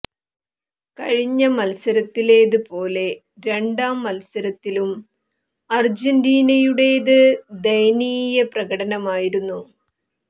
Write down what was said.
കഴിഞ്ഞ മത്സരത്തിലേത് പോലെ രണ്ടാം മത്സരത്തിലും അര്ജന്റീനയുടേത് ദയനീയ പ്രകടനമായിരുന്നു